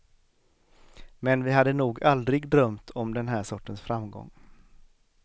Men vi hade nog aldrig drömt om den här sortens framgång.